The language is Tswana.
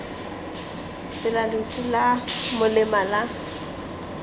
tsela losi la molema la